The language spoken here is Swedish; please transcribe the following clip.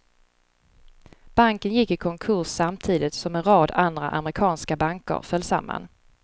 Banken gick i konkurs samtidigt som en rad andra amerikanska banker föll samman.